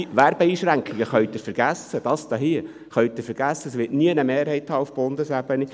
Werbeeinschränkungen können Sie vergessen, das wird auf Bundesebene nie eine Mehrheit haben.